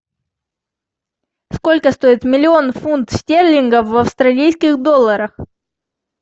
сколько стоит миллион фунт стерлингов в австралийских долларах